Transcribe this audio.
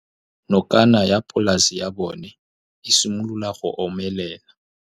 Nokana ya polase ya bona, e simolola go omelela.